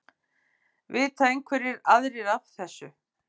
Vita einhverjir aðrir af þessu?